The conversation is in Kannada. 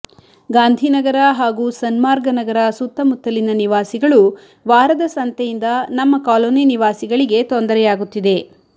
ಗಾಂಧಿನಗರ ಹಾಗೂ ಸನ್ಮಾರ್ಗನಗರ ಸುತ್ತಮುತ್ತಲಿನ ನಿವಾಸಿಗಳು ವಾರದ ಸಂತೆಯಿಂದ ನಮ್ಮ ಕಾಲೊನಿ ನಿವಾಸಿಗಳಿಗೆ ತೊಂದರೆಯಾಗುತ್ತಿದೆ